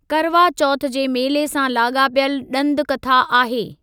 करवा चोथि जे मेले सां लाॻापियलु ॾंद कथा आहे।